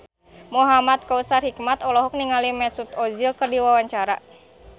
Muhamad Kautsar Hikmat olohok ningali Mesut Ozil keur diwawancara